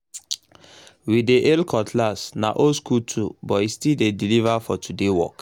we dey hail cutlass—na old school tool but e still dey deliver for today work